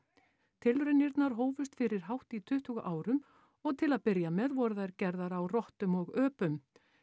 tilraunirnar hófust fyrir hátt í tuttugu árum og til að byrja með voru þær gerðar á rottum og öpum